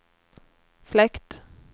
fläkt